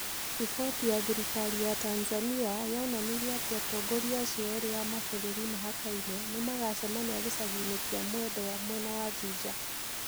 Riboti ya thirikari ya Tanzania yonanirie atĩ atongoria acio erĩ a mabũrũri mahakaine nĩ magacemania gĩcagi-inĩ kĩa Mwendwa mwena wa Juja